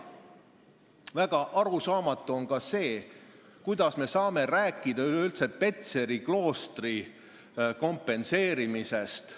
Väga arusaamatu on ka see, kuidas me saame üleüldse rääkida Petseri kloostri vara kompenseerimisest.